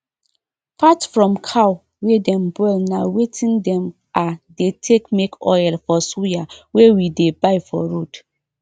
fat from cow wey dem boil na wetin dem um dey take make oil for suya wey we dey buy for road